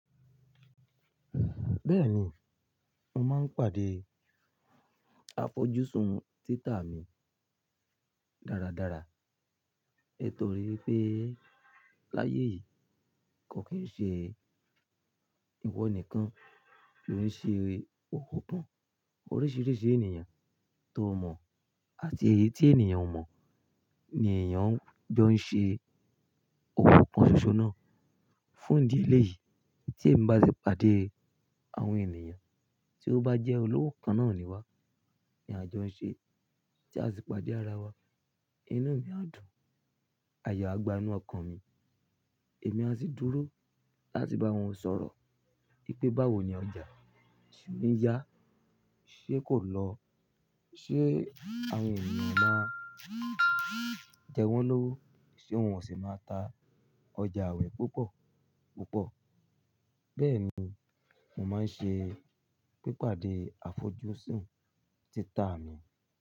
Bẹ́ẹ̀ni, mo máa ń pàdé afọjúsùn títa mi dáradára. Nitori wípé láyé yìí kò kí ń ṣe ìwọ nìkan tó lè ṣe owo kan Oríṣìíríṣìí ènìyàn tó mọ̀ àti èyí tí ènìyàn ò mọ̀ ni èèyàn jọ ń ṣe owo kán ṣoṣo náà. Fún ìdí eléyìí tí ẹ́ bá ṣe pàdé àwọn ènìyàn tí ó bá jẹ́ olówó kan náà ni wá, ní àjọ ń ṣe tí a sì pàdé ara wa, inú mi á dùn, àyo á gbanú ọkàn mi, èmi á sì dúró láti bá wọn sọ̀rọ̀ wípé báwo ni ọjà, se n yá, ṣe kò lọ? Ṣé àwọn ènìyàn o máa jẹ wọ́n lówó? Ṣé wọn ò ṣi máa ta ọjà awin púpọ̀ púpọ̀? Bẹ́ẹ̀ni, mo máa ń ṣe pípàdé àfojúsùn títa mi.